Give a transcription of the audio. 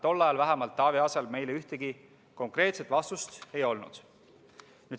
Tol ajal vähemalt Taavi Aasal meile ühtegi konkreetset vastust ei olnud.